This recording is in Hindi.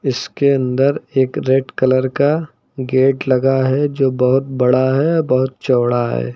इसके अंदर एक रेड कलर का गेट लगा है जो बहुत बड़ा है और बहुत चौड़ा है।